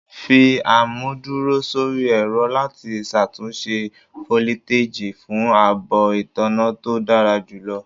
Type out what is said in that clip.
Fi amuduro sori ẹrọ lati ṣatunṣe foliteji fun aabo itanna to dara julọ